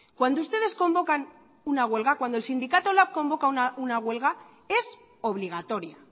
cuando ustedes convocan una huelga cuando el sindicato lab convoca una huelga es obligatoria